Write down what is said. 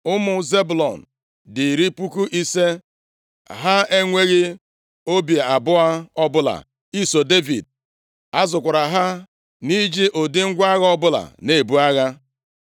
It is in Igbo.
Ụmụ Zebụlọn dị iri puku ise. (50,000) Ha enweghị obi abụọ ọbụla iso Devid. A zụkwara ha nʼiji ụdị ngwa agha ọbụla na-ebu agha.